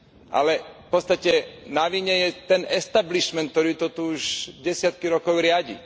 Ale v podstate na vine je ten establishment, ktorý to tu už desiatky rokov riadi.